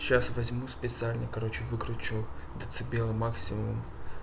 сейчас возьму специально короче выкручу децибелы максимум